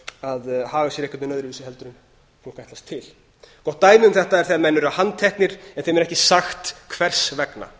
einhvern veginn öðruvísi heldur en fólk ætlast til gott dæmi um þetta er þegar menn eru handteknir en þeim er ekki sagt hvers vegna